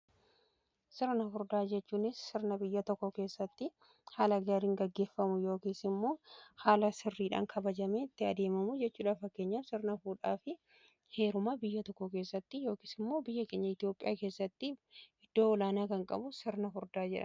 sirna furdaa jechuun sirna biyya tokko keessatti haala gaariin gaggeeffamu yookiin immoo haala sirriidhaan kabajamee itti adeemamu jechuudha. fakkeenyaf sirna fuudhaa fi heerumaa biyya tokko keessatti yookiin immoo biyya keenya itiyoophiyaa keessatti iddoo olaanaa kan qabu sirna furdaa jedhama.